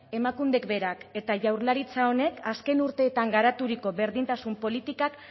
emakundek berak eta jaurlaritza honek azken urteetan garaturiko berdintasun politikak